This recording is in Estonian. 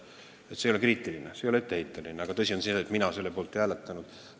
See ei ole kriitiline, see ei ole etteheide, aga tõsi on see, et mina selle poolt ei hääletanud.